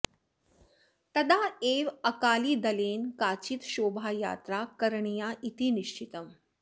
तदा एव अकालीदलेन काचित् शोभायात्रा करणीया इति निश्चितम्